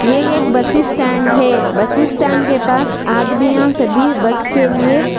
ये एक bus stand है बस स्टैंड के पास आदमियां सभी बस के लिए--